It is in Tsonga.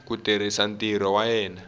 ku tirha ntirho wa yena